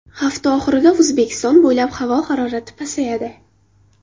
Hafta oxirida O‘zbekiston bo‘ylab havo harorati pasayadi.